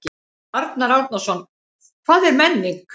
Arnar Árnason: Hvað er menning?